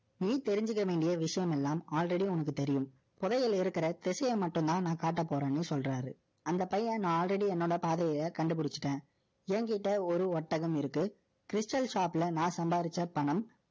நீ தெரிஞ்சுக்க வேண்டிய விஷயம் எல்லாம், already உனக்கு தெரியும். புதையல் இருக்கிற, திசையை மட்டும்தான், நான் காட்டப் போறேன்னு, சொல்றாரு. அந்தப் பையன், நான் already, என்னோட பாதையை, கண்டுபிடிச்சுட்டேன். எங்கிட்ட, ஒரு ஒட்டகம் இருக்கு. Crystal shop ல, நான் சம்பாதிச்ச பணம்,